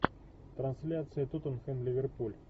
трансляция тоттенхэм ливерпуль